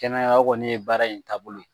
Kɛnɛya o kɔni ye baara in taabolo ye